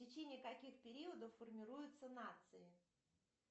в течении каких периодов формируются нации